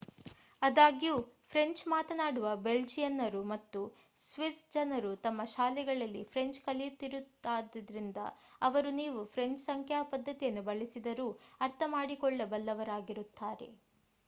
ಅದ್ಯಾಗೂ French ಮಾತನಾಡುವ ಬೆಲ್ಜಿಯನ್ನರು ಮತ್ತು ಸ್ವಿಸ್ಸ್ ಜನರು ತಮ್ಮ ಶಾಲೆಗಳಲ್ಲಿ ಫ್ರೆಂಚ್ ಕಲಿತಿರುತ್ತಾರಾದ್ದರಿಂದ ಅವರು ನೀವು ಫ್ರೆಂಚ್ ಸಂಖ್ಯಾ ಪದ್ಧತಿಯನ್ನು ಬಳಸಿದರೂ ಅರ್ಥ ಮಾಡಿಕೊಳ್ಳಬಲ್ಲವರಾಗಿರುತ್ತಾರೆ